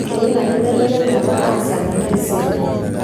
eina kibelekenyata aasa tentaisere.